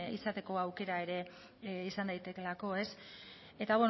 izateko aukera ere izan daitekeelako eta